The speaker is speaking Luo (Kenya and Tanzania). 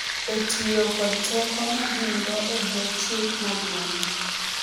e tiyo kod teko ma gin-go e bwo Chik Maduong’ni.